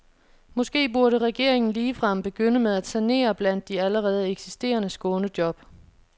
Måske burde regeringen ligefrem begynde med at sanere blandt de allerede eksisterende skånejob.